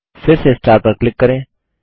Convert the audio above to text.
फिर से स्टार पर क्लिक करें